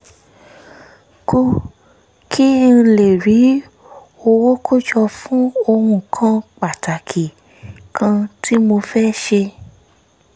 kù kí n lè rí owó kójọ fún ohun pàtàkì kan tí mo fẹ́ ṣe